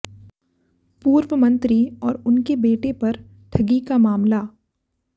पूर्व मंत्री और उनके बेटे पर ठगी का मामला